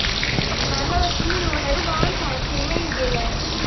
Xannaanada shinnidu waxay u baahan tahay qiimayn deegaan.